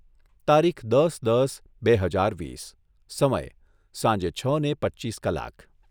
તારીખ દસ દસ બે હજાર વીસ. સમય, સાંજે છને પચ્ચીસ કલાક